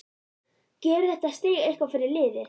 Gerir þetta stig eitthvað fyrir liðið?